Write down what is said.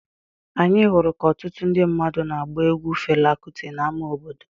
Anyị hụrụ ka ọtụtụ ndị mmadụ na-agba egwu Fela Kuti n’ámá obodo.